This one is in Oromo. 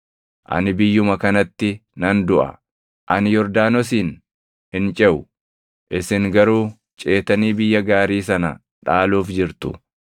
Ani biyyuma kanatti nan duʼa; ani Yordaanosin hin ceʼu; isin garuu ceetanii biyya gaarii sana dhaaluuf jirtu.